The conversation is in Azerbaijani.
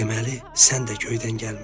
Deməli, sən də göydən gəlmisən.